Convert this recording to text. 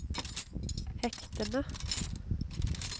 hektene